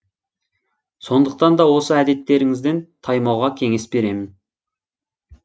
сондықтан да осы әдеттеріңізден таймауға кеңес беремін